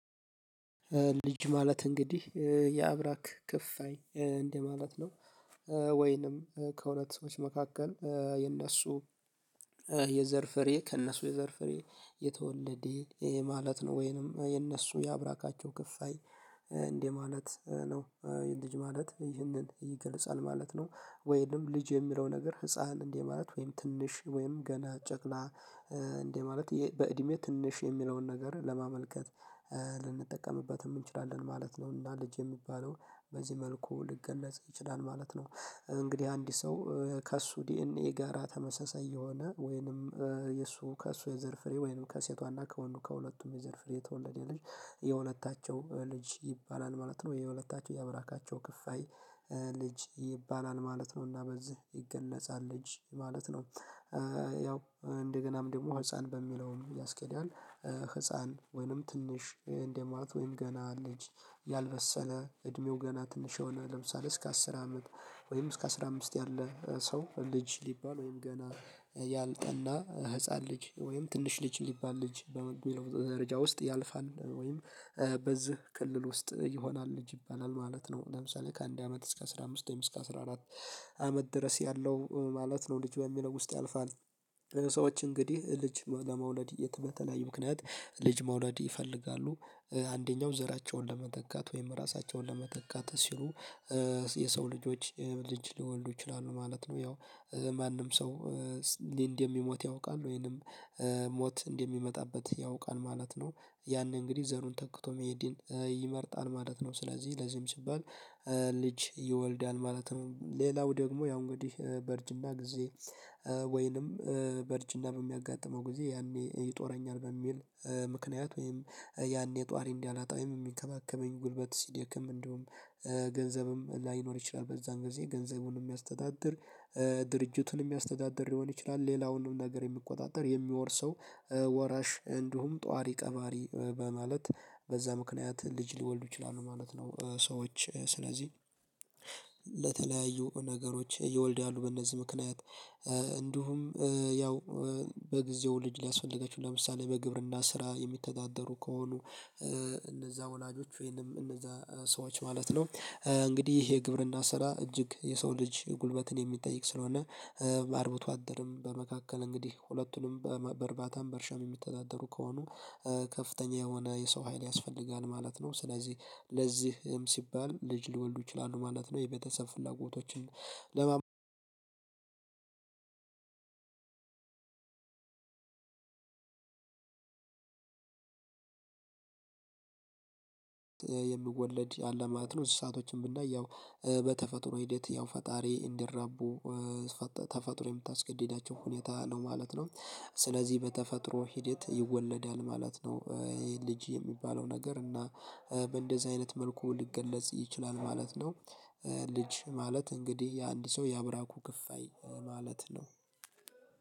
ልጅ ማለት እንግዲህ የአብራክ ክፉይ እንደማለት ነው። ወይንም ከሁለት ሰዎች መካከል የእነሱ የዘር ፍሬ ከእነሱ የዘር ፍሬ የተወለደ ይሄ ማለት ነው ወይንም የእነሱ የአብራካቸው ክፋይ እንደማለት ነው። ልጅ ማለት ይህንን ይገልጻል ማለት ነው። ወይንም ልጅ የሚለው ነገር ህፃን እንደ ማለት ወይንም ትንሽ ወይም ገና ጨቅላ እንደ ማለት በእድሜ ትንሽ የሚለውን ነገር ለማመልከት ልንጠቀምበት እንችላለን ማለት ነው። እና ልጅ የሚባለው በዚህ መልኩ ሊገለጽ ይችላል ማለት ነው። እንግዲህ አንድ ሰው ከእሱ ዲኤንኤ ጋራ ተመሳሳይ የሆነ ወይንም የእሱ ከእሱ የዘር ፍሬ ወይንም ከሴቷና ከወንዱ ከሁለቱም የዘር ፍሬ የተወለደ ልጅ የሁለታቸው ልጅ ይባላል ማለት ነው። የሁለታቸው ያአብራካቸው ክፋይ ልጅ ይባላል ማለት ነው። እና በዚህ ይገነጻል ልጅ ማለት ነው። ያው እንደገናም ደግሞ ህፃን በሚለውም ያስኬዳል። ህፃን ወይንም ትንሽ እንደማለት ወይንም ገና ልጅ ያልበሰለ እድሜው ገና ትንሽ የሆነ ለምሳሌ እስከ አስር አመት ወይም እስከ አስራ አምስት ያለ ሰው ልጅ ሊባል ወይም ገና ያልጠና ህፃን ልጅ ወይም ትንሽ ልጅ ሊባል ልጅ በሚለው ደረጃ ውስጥ ያልፋል ወይም በዚህ ክልል ውስጥ ይሆናል ልጅ ይባላል ማለት ነው። ለምሳሌ ከአንድ አመት እስከ አስራ አምስት ወይም እስከ አስራ አራት አመት ድረስ ያለው ማለት ነው ልጅ በሚለው ውስጥ ያልፋል። ሰዎች እንግዲህ ልጅ ለመውለድ የተበተለያዩ ምክንያት ልጅ መውለድ ይፈልጋሉ አንደኛው ዘራቸውን ለመተካት ወይም ራሳቸውን ለመተካት ሲሉ የሰው ልጆች ልጅ ሊወልዱ ይችላሉ ማለት ነው። ያው ማንም ሰው ሊንድ የሚሞት ያውቃል ወይንም ሞት እንደሚመጣበት ያውቃል ማለት ነው። ያንን እንግዲህ ዘሩን ተክቶ መሄድን ይመርጣል ማለት ነው። ስለዚህ ለዚህም ሲባል ልጅ ይወልዳል ማለት ነው። ሌላው ደግሞ ያው እንግዲህ በርጅና ጊዜ ህፃን ወይንም ትንሽ እንደማለት ወይንም ገና ልጅ ያልበሰለ እድሜው ገና ትንሽ የሆነ ለምሳሌ እስከ አስር አመት ወይንም እስከ አስራ አምስት ያለ ሰው ልጅ ሊባል ወይም ገና ያልጠና ህፃን ልጅ ወይም ትንሽ ልጅ ሊባል ልጅ በሚለው ደረጃ ውስጥ ያልፋል ወይም በዚህ ምክንያት ወይም ያኔ ጧሪ እንዲያላጣ የሚከባከበኝ ጉልበት ሲደክም እንደውም ገንዘብም ላይኖር ይችላል። በዛን ጊዜ ገንዘቡን የሚያስተዳድር ድርጅቱን የሚያስተዳድር ሊሆን ይችላል። ሌላውንም ነገር የሚቆጣጠር የሚወርሰው ወራሽ እንዲሁም ጧሪ ቀባሪ በማለት በዛ ምክንያት ልጅ ሊወልዱ ይችላሉ ማለት ነው። ሰዎች ስለዚህ ለተለያዩ ነገሮች ይወልዳሉ በእነዚህ ምክንያት። እንዲሁም ያው በጊዜው ልጅ ሊያስፈልገችው ለምሳሌ በግብርና ስራ የሚተዳደሩ ከሆኑ እነዛ ወላጆች ወይንም እነዛ ሰዎች ማለት ነው። እንግዲህ ይሄ የግብርና ስራ እጅግ የሰው ልጅ ጉልበትን የሚጠይቅ ስለሆነ አርብቶ አደርም በመካከል እንግዲህ ሁለቱንም በእርባታም በእርሻም የሚተዳደሩ ከሆኑ ከፍተኛ የሆነ የሰው ሀይል ያስፈልጋል ማለት ነው። ስለዚህ ለዚህም ሲባል ልጅ ሊወልዱ ይችላሉ ማለት ነው። የቤተሰብ ፍላጎቶችን ለማ የሚወለድ ያለ ማለት ነው። እዚህ ሰአቶችን ብናየው በተፈጥሮ ሂደት ያው ፈጣሪ እንዲራቡ ተፈጥሮ የምታስገድዳቸው ሁኔታ ነው ማለት ነው። ስለዚህ በተፈጥሮ ሂደት ይወለዳል ማለት ነው። ይሄ ልጅ የሚባለው ነገር እና በእንደዚህ አይነት መልኩ ሊገለጽ ይችላል ማለት ነው። ልጅ ማለት እንግዲህ የአንድ ሰው ያብራኩ ክፍያ ማለት ነው።